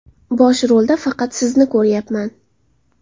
Bosh rolda faqat sizni ko‘ryapman.